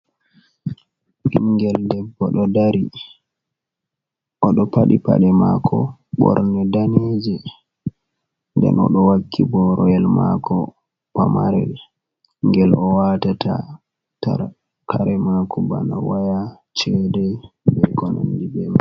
Ɓingel debbo ɗo dari oɗo paɗi pade mako borne daneje den oɗo waki boroyel mako pamarel gel o watata tar kare mako bana waya chede be konandi be man.